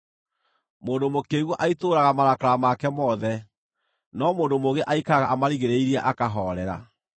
Mũndũ mũkĩĩgu aitũrũraga marakara make mothe, no mũndũ mũũgĩ aikaraga amarigĩrĩirie, akahoorera.